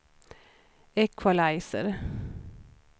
equalizer